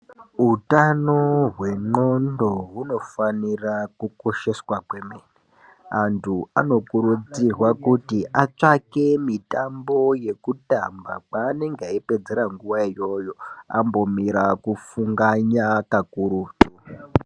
Utano hwendlondo hunofanira kukosheswa kwemene antu anokurudzirwa kuti atsvake mitambo yekutamba kwaanenge eipedzere nguwa iyoyo ambomire kufunganya kakurutu.